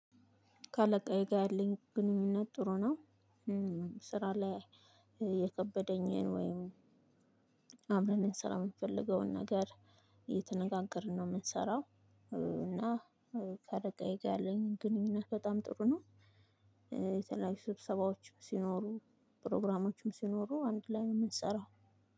ካለቃዬ ጋር ያለኝ ግንኙነት ጥሩ ነው። ስራ ላይ የከበደኝን ወይም አብረን ልንሰራ የምንፈልገውን ነገር እየተነጋገርን ነው የምንሰራው። እና ካለቃዬ ጋር ያለኝን ግንኙነት በጣም ጥሩ ነው። የተለያዩ ስብሰባዎች ሲኖሩ ፕሮግራሞችም ሲኖሩ አንድ ላይ ነው የምንሰራው።